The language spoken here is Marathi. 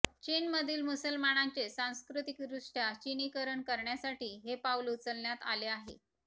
चीनमधील मुसलमानांचे सांस्कृतिकदृष्ट्या चिनीकरण करण्यासाठी हे पाऊल उचलण्यात आले आहे